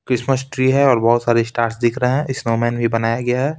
Christmas tree है और बहुत सारे स्टार्स दिख रहे हैं स्नोमेन भी बनाया गया है।